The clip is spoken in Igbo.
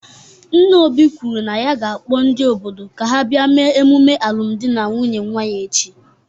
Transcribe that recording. Nna Obi kwuru na ya ga-akpọ ndị obodo ka ha bịa emume alụmdi na nwunye nwa ya echi.